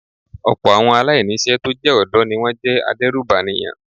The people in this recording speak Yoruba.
Ọ̀pọ̀ àwọn aláìní iṣẹ́ tó jẹ́ ọ̀dọ́ ni wón jẹ́ adérùbànìyàn.